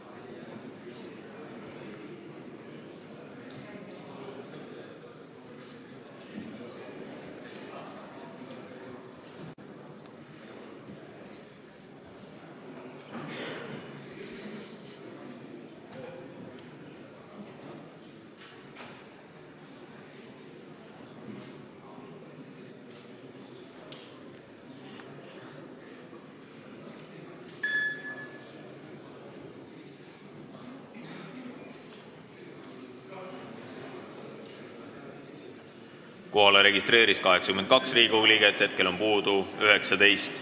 Kohaloleku kontroll Kohalolijaks registreeris ennast 82 Riigikogu liiget, hetkel puudub 19.